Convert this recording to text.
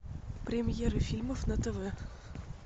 премьеры фильмов на тв